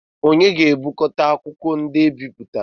Onye ga-ebukọta akwụkwọ ndị ebipụtara?